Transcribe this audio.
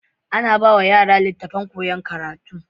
Ana bawa yara litattafan koyan karatu